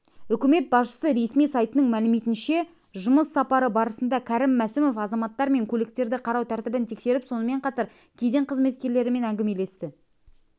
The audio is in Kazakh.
үкімет басшысы ресми сайтының мәліметінше жұмыс сапары барысында кәрім мәсімов азаматтар мен көліктерді қарау тәртібін тексеріп сонымен қатар кеден қызметкерлерімен әңгімелесті